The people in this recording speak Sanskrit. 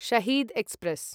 शहीद् एक्स्प्रेस्